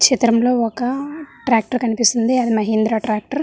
చిత్రమ్ లో ఒక ట్రాక్టర్ కనిపిస్తోంది అది మహీంద్రా ట్రాక్టర్ .